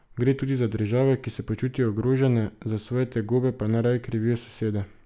Gre tudi za države, ki se počutijo ogrožene, za svoje tegobe pa najraje krivijo sosede.